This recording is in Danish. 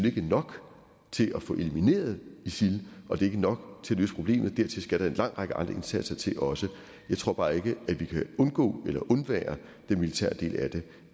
ikke nok til at få elimineret isil og det er ikke nok til at løse problemet dertil skal der en lang række andre indsatser til også jeg tror bare ikke at vi kan undgå eller undvære den militære del af det